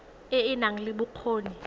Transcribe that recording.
e e nang le bokgoni